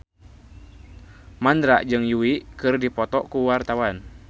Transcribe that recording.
Mandra jeung Yui keur dipoto ku wartawan